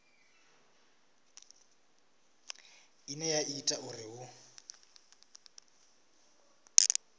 ine ya ita uri hu